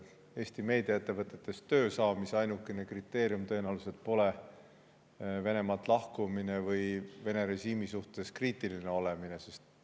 Eesti meediaettevõtetes töö saamise ainukene kriteerium tõenäoliselt pole Venemaalt lahkumine või Vene režiimi suhtes kriitiline olemine.